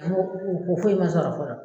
Kɔ foyi ma sɔrɔ fɔlɔ